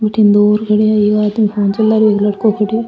बठन दूर खड़ा है एक आदमी फ़ोन चला रो है एक लड़को खड़ो है।